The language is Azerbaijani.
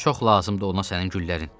Çox lazımdır ona sənin güllərin.